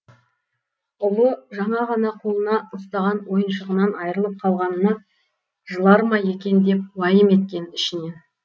ұлы жаңа ғана қолына ұстаған ойыншығынан айрылып қалғанына жылар ма екен деп уайым еткен ішінен